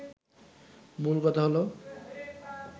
মূল কথা হলো